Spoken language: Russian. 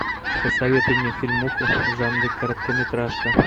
посоветуй мне фильмуху в жанре короткометражка